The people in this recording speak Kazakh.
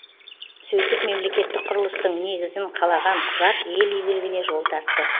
сөйтіп мемлекеттік құрылыстың негізін қалаған құжат ел игілігіне жол тартты